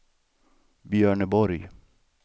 Björneborg